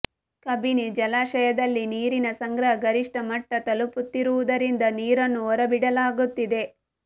ಕಬಿನಿ ಜಲಾಶಯದಲ್ಲಿ ನೀರಿನ ಸಂಗ್ರಹ ಗರಿಷ್ಠ ಮಟ್ಟ ತಲುಪುತ್ತಿರುವುದರಿಂದ ನೀರನ್ನು ಹೊರಬಿಡಲಾಗುತ್ತಿದೆ